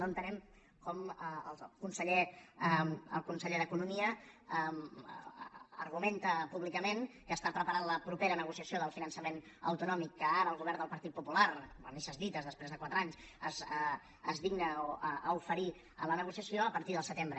no entenem com el conseller d’economia argumenta públicament que prepara la propera negociació del finançament autonòmic que ara el govern del partit popular a misses dites després de quatre anys es digna a oferir a la negociació a partir del setembre